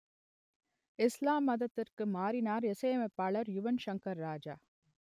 இஸ்லாம் மதத்திற்கு மாறினார் இசையமைப்பாளர் யுவன் சங்கர் ராஜா